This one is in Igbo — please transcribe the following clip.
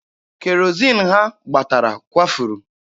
Kerozin ha gbatara kwafuru.